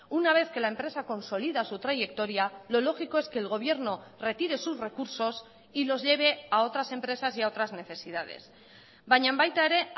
una vez que la empresa consolida su trayectoria lo lógico es que el gobierno retire sus recursos y los lleve a otras empresas y a otras necesidades baina baita ere